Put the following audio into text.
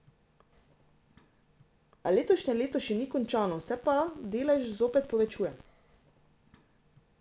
A letošnje leto še ni končano, se pa delež zopet povečuje.